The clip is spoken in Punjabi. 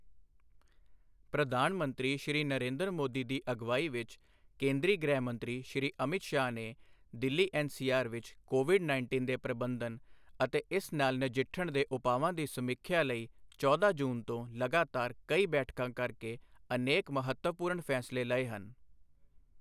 ਪ੍ਰਧਾਨ ਮੰਤਰੀ ਸ਼੍ਰੀ ਨਰੇਂਦਰ ਮੋਦੀ ਦੀ ਅਗਵਾਈ ਵਿੱਚ, ਕੇਂਦਰੀ ਗ੍ਰਹਿ ਮੰਤਰੀ ਸ਼੍ਰੀ ਅਮਿਤ ਸ਼ਾਹ ਨੇ ਦਿੱਲੀ ਐੱਨਸੀਆਰ ਵਿੱਚ ਕੋਵਿਡ ਨਾਇੰਟੀਨ ਦੇ ਪ੍ਰਬੰਧਨ ਅਤੇ ਇਸ ਨਾਲ ਨਜਿੱਠਣ ਦੇ ਉਪਾਵਾਂ ਦੀ ਸਮੀਖਿਆ ਲਈ ਚੌਦਾਂ ਜੂਨ ਤੋਂ ਲਗਾਤਾਰ ਕਈ ਬੈਠਕਾਂ ਕਰ ਕੇ ਅਨੇਕ ਮਹੱਤਵਪੂਰਨ ਫ਼ੈਸਲੇ ਲਏ ਹਨ।